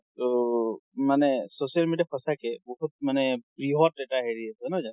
ট মানে social media সচাকে বহুত মানে বৃহত এটা হেৰি আছে, নহয় জানো?